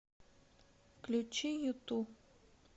включи юту